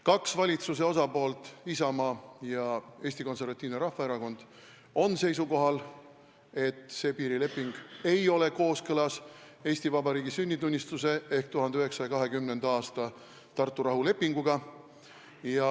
Kaks valitsuse osapoolt, Isamaa ja Eesti Konservatiivne Rahvaerakond, on seisukohal, et see piirileping ei ole kooskõlas Eesti Vabariigi sünnitunnistuse ehk 1920. aasta Tartu rahulepinguga.